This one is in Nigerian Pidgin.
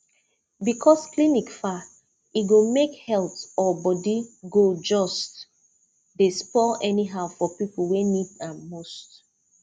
because clinic far e go make health or body go just dey spoil anyhow for people wey need am most